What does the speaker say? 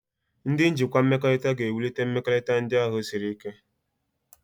Ndị njikwa mmekọrịta ga-ewulite mmekọrịta ndị ahịa siri ike.